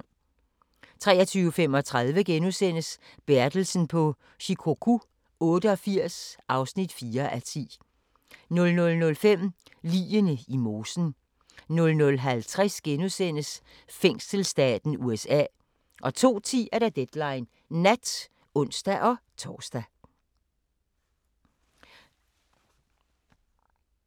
23:35: Bertelsen på Shikoku 88 (4:10)* 00:05: Ligene i mosen 00:50: Fængselsstaten USA * 02:10: Deadline Nat (ons-tor)